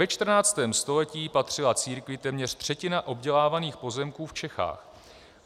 Ve 14. století patřila církvi téměř třetina obdělávaných pozemků v Čechách.